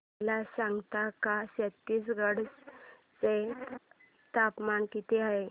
मला सांगता का छत्तीसगढ चे तापमान किती आहे